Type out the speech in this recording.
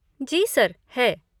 जी sir, है।